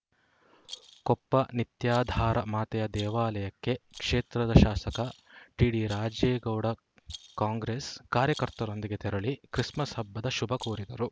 ಕೊಪ್ಪ ನಿತ್ಯಾಧಾರ ಮಾತೆಯ ದೇವಾಲಯಕ್ಕೆ ಕ್ಷೇತ್ರದ ಶಾಸಕ ಟಿಡಿ ರಾಜೇಗೌಡ ಕಾಂಗ್ರೆಸ್‌ ಕಾರ್ಯಕರ್ತರೊಂದಿಗೆ ತೆರಳಿ ಕ್ರಿಸ್‌ಮಸ್‌ ಹಬ್ಬದ ಶುಭ ಕೋರಿದರು